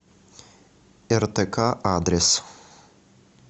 ртк адрес